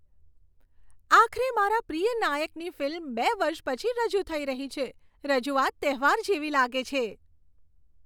આખરે મારા પ્રિય નાયકની ફિલ્મ બે વર્ષ પછી રજૂ થઈ રહી છે, રજૂઆત તહેવાર જેવી લાગે છે.